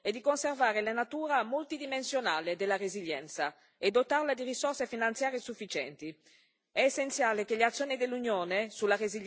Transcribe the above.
Quello che chiediamo alla Commissione e al Consiglio è di conservare la natura multidimensionale della resilienza e dotarla di risorse finanziarie sufficienti.